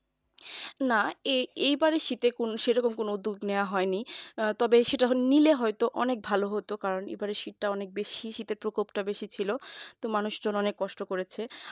না এবারে শীতে সেই রকম কোন উদ্যোগ নেওয়া হয়নি তবে সেটা নিলে হয়তো অনেক ভালো হতো কারণ এবারের শীতটা অনেকটাই বেশি শীতের প্রকোপটা অনেক বেশি ছিল মানুষজন অনেক কষ্ট করেছে